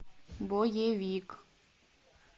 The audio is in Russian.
боевик